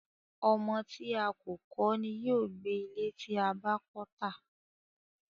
Ọmọ tí a kò kọ́ ni yóò gbé ilé tí a bá kọ́ tà.